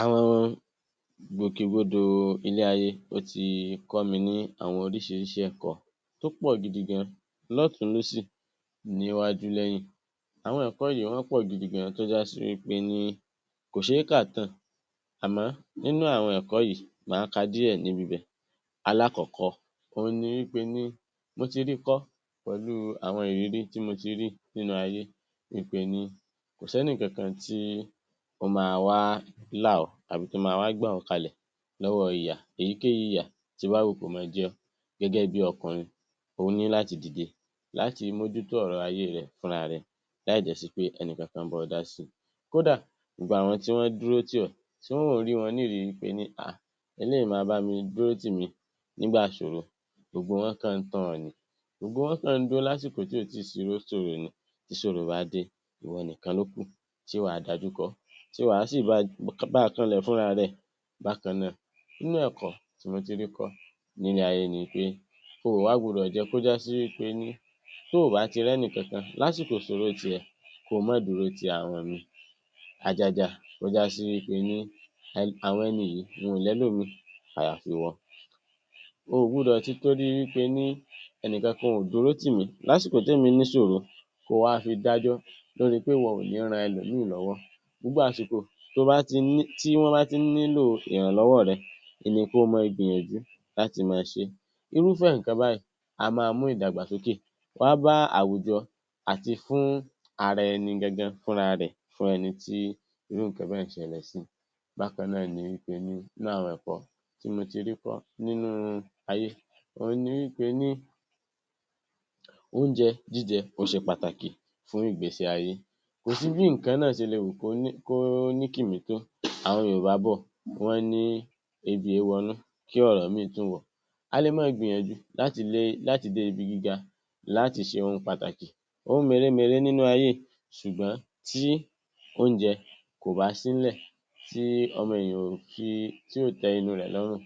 Àwọn ìgbòkegbodò ilé-ayé, ó ti kọ́ mi ní àwọn oríṣiríṣi ẹ̀kọ́ tó pọ̀ gidi gan, lọ́tùn-ún, lósì, níwájú, lẹ́yìn. Àwọn ẹ̀kọ́ yìí wọ́n pọ̀ gidi gan tó jásí wí péní kò ṣe é kà tán-àn. Àmọ́ nínú àwọn ẹ̀kọ́ yìí, màá ka díẹ̀ níbi ibẹ̀. Alákọ̀ọ́kọ́ óhun ni wí pení mo ti ríi kọ́ pẹ̀lú àwọn ìrírí tí mo ti rí nínú ayé ípe ní kò sẹ́nì kankan tí ó máa wá là ọ́ tàbí tó máa wá gbà ọ́ kalẹ̀ lọ́wọ́ ìyà, èyíkéyìí ìyà tó bá wù kó máa jẹ. Gẹ́gẹ́ bí ọkùnrin, o ní láti dìde láti mójútó ọ̀rọ̀ ayé rẹ fúnra rẹ láì dẹ̀ sí pé ẹnìkankan ń bá ọ dásíi. Kódà, gbogbo àwọn tí wọ́n dúró tì ọ́, tí mò ń rí wọn ní ìrí wí pení um, eléyìí máa bámi dúró tì mí nígbà ìṣòro, gbogbo wọn kàn ń tàn ọ́ ni. Gbogbo wọn kàn ń dún lásìkò tí ò tíì sí Tí ìṣòro bá dé, ìwọ nìkan ló kù tí wàá dajú kọ ọ́, tí wàá sì báa kanlẹ̀ fúnra rẹ. Bákan náà, nínú ẹ̀kọ́ tí mo ti rí kọ́ nílé ayé ni pé o ò wá gbudọ̀ jẹ́ kó jásí wí pení tóò bá ti rẹ́nì kankan lásìkò ìṣòro tìẹ, kó o mọ́ dúró ti àwọn míì, àjàjà kó jásí wí pe ní àwọn ẹni yìí, wọn ò lẹ́lòmíì àyàfi ìwọ. O ò gbudọ̀ tìtorí wí pení ẹnìkankan ò dúró tì mí lásìkò témi níṣòro, kó o wá fi dájọ́ lóríi pé ìwọ ò ní ran ẹlòmíì lọ́wọ́. Gbogbo àsìkò tí wọ́n bá ti ń nílò ìrànlọ́wọ́ rẹ ni kó o mọ́ ọ gbìyànjú láti mọ́n ọn ṣe é. Irúfẹ́ nǹkan báyìí a máa mú ìdàgbàsókè wá bá àwùjọ àti fún ara ẹni gangan fúnra rẹ̀ fún ẹni tí irú nǹkan báyẹn ṣẹlẹ̀ sí. Bákan náà ni wí pení nínú àwọn ẹ̀kọ́ tí mo ti rí kọ́ nínú ayé òhun ni wí pení oúnjẹ jíjẹ ó ṣe pàtàkì fún ìgbésí-ayé. Kò sí bí nǹkan náà ṣe le wù kó ní kìmí tó, àwọn yoòbá bọ̀, wọ́ ní ebi èé wọnú kí ọ̀rọ̀ míì tún wọ̀ ọ́. A le mọ́n ọn gbìyànjú láti lé, láti dé ibi gíga, láti ṣe ohun pàtàkì, ohun mèremère nínú ayé ṣùgbọ́n tí oúnjẹ kò bá sí ńlẹ̀, tí ọmọ èèyàn ò fi, tí ò tẹ́ inú rẹ̀ lọ́rùn,